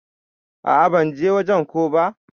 A'a ban je wajen ko ba.